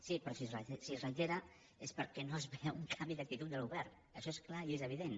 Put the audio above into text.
sí però si es reitera és perquè no es veu un canvi d’actitud del govern això és clar i és evident